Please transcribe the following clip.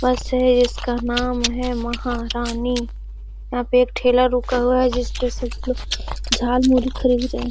बस है इसका नाम है महारानी यहाँ पे एक ठेला रुका हुआ है जिसपे सब लोग झालमुड़ी खरीद रहे हैं।